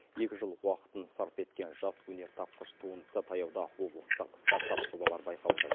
екі жыл уақытын сарп еткен жас өнертапқыш туындысы таяуда облыстық стартап жобалар байқауында